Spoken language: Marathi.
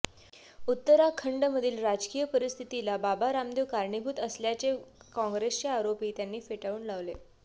उत्तराखंडमधील राजकीय परिस्थितीला बाबा रामदेव कारणीभूत असल्याचे काँग्रेसचे आरोपही त्यांनी फेटाळून लावले